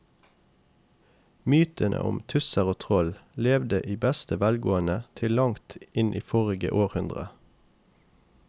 Mytene om tusser og troll levde i beste velgående til langt inn i forrige århundre.